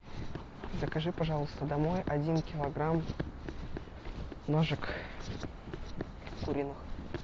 закажи пожалуйста домой один килограмм ножек куриных